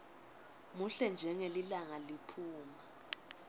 muhle njengelilanga liphuma